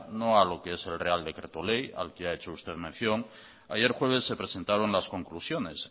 no a lo que es el real decreto ley al que ha hecho usted mención ayer jueves se presentaron las conclusiones